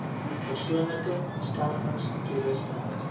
persoonlike beskermings toerusting